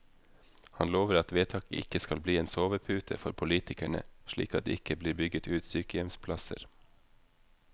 Han lover at vedtaket ikke skal bli en sovepute for politikerne, slik at det ikke blir bygget ut sykehjemsplasser.